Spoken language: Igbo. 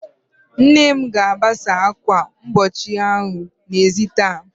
Nne m ga-agbasa ákwà mkpuchi ahụ n'ezi taa.